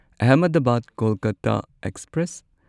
Ahmedabad Kolkata express